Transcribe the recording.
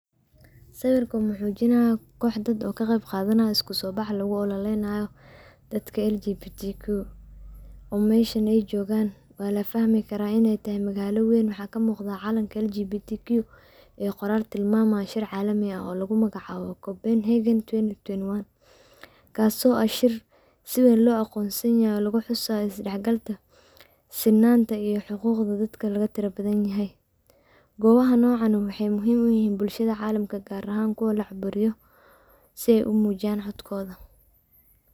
Sawirka wuxuu mujinaya kox dad oo ka qeb qadanayan iskuso bax loogu ulolaynayo dadka LGBTQ oo meshan ay jogan waa lafahmi karaa inay magaala weyn, waxa kamiqda calanka LGBTQ ee qorol caalami ah oo tilmaamayo shir caalami ah oo lugu magacaabo compenhagen twenty twenty one kaaso ah shir si weyn loo aqonsan yahay oo lugu xusaayo is dhaxgalka sinanta iyo xuquqda dadka laga tira badan yahay, goobaha nocan maxay muhiim uyihiin bulshada caalamka gar ahan kuwa lacaaburiyo sey u muujiyan codkoda.